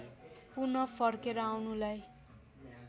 पुन फर्केर आउनुलाई